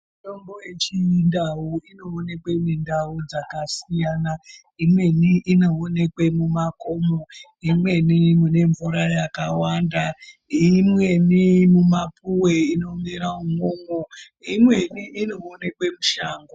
Mitombo yechindau inoonekwe mindau dzakasiyana. Imweni inoonekwe mumakomo, imweni mune mvura yakawanda, imweni mumapuwe inomera umwomwo, imweni inoonekwe mushango.